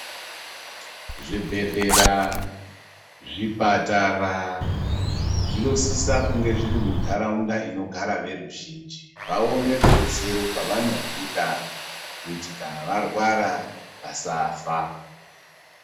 Zvibhedhlera, zvipatara zvinosisa kunge zviri mundaraunda inogara veruzhinji vawone rudetsero pavanorwuda kuti kana varwara vasafa.